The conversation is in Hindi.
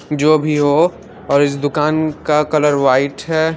जो भी हो इस दुकान का कलर वाइट हैं।